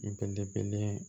Belebele